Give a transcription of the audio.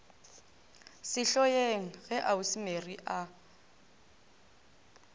sehloeng ge ausi mary a